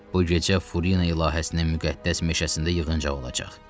Bu gecə Furina ilahəsinin müqəddəs meşəsində yığıncaq olacaq.